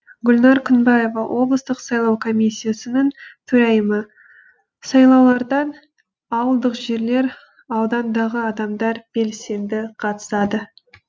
гүлнәр күнбаева облыстық сайлау комиссиясының төрайымы сайлауларда ауылдық жерлер аудандағы адамдар белсенді қатысады